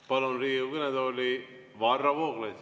Palun Riigikogu kõnetooli Varro Vooglaiu.